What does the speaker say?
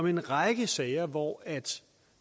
en række sager hvor